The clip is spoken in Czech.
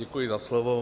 Děkuji za slovo.